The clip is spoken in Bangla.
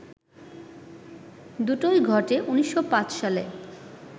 দুটোই ঘটে ১৯০৫ সালে